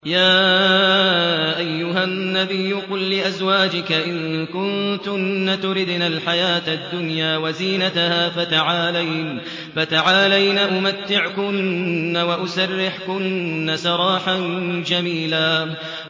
يَا أَيُّهَا النَّبِيُّ قُل لِّأَزْوَاجِكَ إِن كُنتُنَّ تُرِدْنَ الْحَيَاةَ الدُّنْيَا وَزِينَتَهَا فَتَعَالَيْنَ أُمَتِّعْكُنَّ وَأُسَرِّحْكُنَّ سَرَاحًا جَمِيلًا